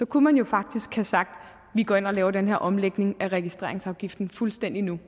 kunne man faktisk have sagt at vi går ind og laver den her omlægning af registreringsafgiften fuldstændig nu